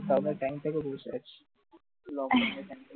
বার বার tank থেকে আসি